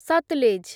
Sutlej